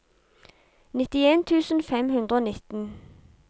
nittien tusen fem hundre og nitten